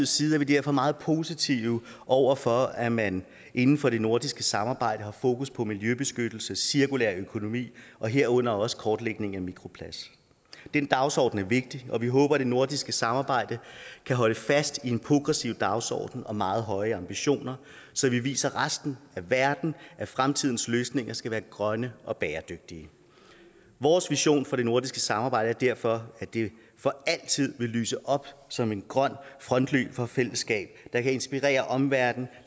side er vi derfor meget positive over for at man inden for det nordiske samarbejde har fokus på miljøbeskyttelse cirkulær økonomi og herunder også kortlægningen af mikroplast den dagsorden er vigtig og vi håber at det nordiske samarbejde kan holde fast i en progressiv dagsorden og meget høje ambitioner så vi viser resten af verden at fremtidens løsninger skal være grønne og bæredygtige vores vision for det nordiske samarbejde er derfor at det for altid vil lyse op som en grøn frontløber for fællesskab der kan inspirere omverdenen